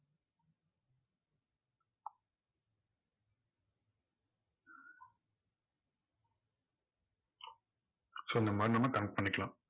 so இந்த மாதிரி நம்ம connect பண்ணிக்கலாம்.